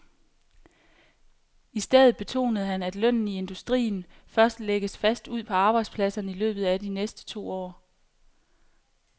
I stedet betonede han, at lønnen i industrien først lægges fast ude på arbejdspladserne i løbet af de næste to år.